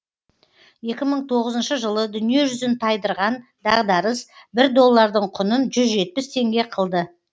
екі мың тоғызыншы жылы дүниежүзін тайдырған дағдарыс бір доллардың құнын жүз жетпіс теңге қылды